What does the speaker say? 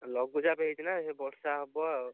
ଲଘୁଚାପ ହେଇଛି ନା ସିଏ ବର୍ଷା ହବ ଆଉ